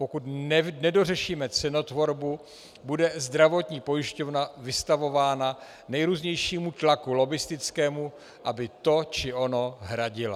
Pokud nedořešíme cenotvorbu, bude zdravotní pojišťovna vystavována nejrůznějšímu tlaku lobbistickému, aby to či ono hradila.